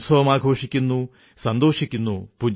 മേരീ ആസാദീ കാ കാരണ് തുമ് ഖുശിയോം കീ സൌഗാത് ഹോ